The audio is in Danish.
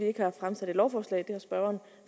ikke har fremsat et lovforslag